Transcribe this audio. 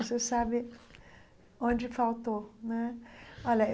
Você sabe onde faltou né olha.